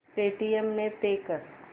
Paytm ने pay कर